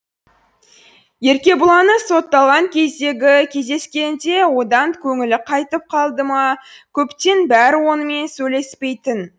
еркебұланы сотталған кездегі кездескенінде одан көңілі қайтып қалды ма көптен бері онымен сөйлеспейтін